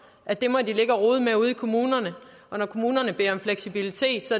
at det må de ligge og rode med ude i kommunerne og når kommunerne beder om fleksibilitet så